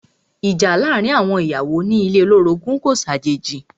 Ìjà láàárín àwọn ìyàwó ilé ní ilé olorogun kò ṣàjèjì.